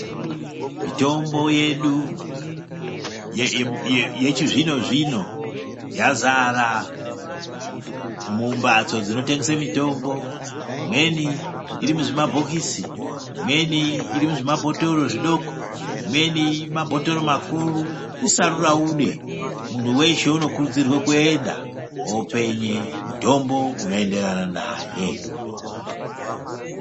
Mitombo yedu yechizvino zvino yazara mumbatso dzinotengesa mitombo imweni iri muzvimabhokisi imweni muzvimabhotoro zvidoko imweni iri muzvimabhotoro makuru isarura ude .Muntu weshe unokurudzirwa kuenda kopenye unoenderana naye.